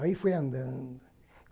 Aí fui andando.